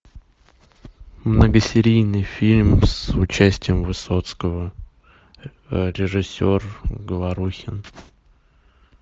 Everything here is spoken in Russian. многосерийный фильм с участием высоцкого режиссер говорухин